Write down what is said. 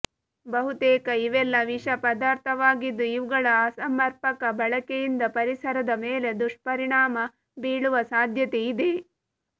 ಬಹುತೇಕ ಇವೆಲ್ಲ ವಿಷ ಪದಾರ್ಥವಾಗಿದ್ದು ಇವುಗಳ ಅಸಮರ್ಪಕ ಬಳಕೆಯಿಂದ ಪರಿಸರದ ಮೇಲೆ ದುಷ್ಪರಿಣಾಮ ಬೀಳುವ ಸಾಧ್ಯತೆ ಇದೆ